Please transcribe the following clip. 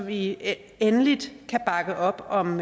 vi endeligt kan bakke op om